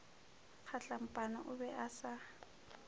kgatlampana o be a sa